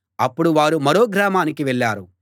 అప్పుడు వారు మరో గ్రామానికి వెళ్ళారు